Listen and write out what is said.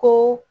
Ko